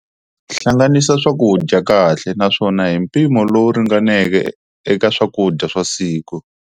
Hlanganisa swakudya kahle naswona hi mpimo lowu ringaneke eka swakudya swa siku.